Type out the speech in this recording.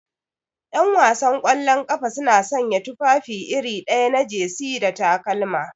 Ƴanwasan kwallon ƙafa suna sanya tufafi iri ɗaya na jesi da takalma.